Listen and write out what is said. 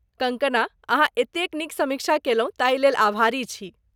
कंगकना, अहाँ एतेक नीक समीक्षा कयलहुँ ताहि लेल अभारी छी ।